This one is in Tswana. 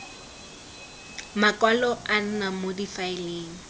makwalo a nna mo difaeleng